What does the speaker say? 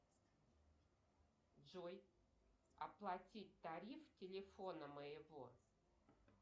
джой оплатить тариф телефона моего